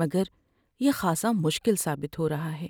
مگر یہ خاصا مشکل ثابت ہو رہا ہے۔